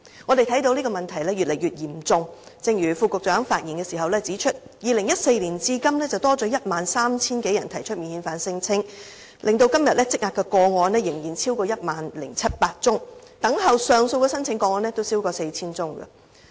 我們看到問題已越來越嚴重，正如副局長在發言時指出 ，2014 年至今已有 13,000 多人提出免遣返聲請，今天累積的個案仍然超過 10,700 宗，等候上訴的申請個案亦超過 4,000 宗。